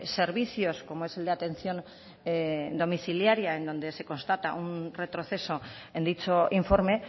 servicios como es el de atención domiciliaria en donde se constata un retroceso en dicho informe